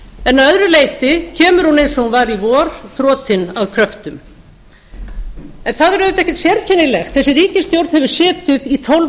en að öðru leyti kemur hún eins og hún var í vor þrotin að kröftum það er auðvitað ekkert sérkennilegt þessi ríkisstjórn hefur setið í tólf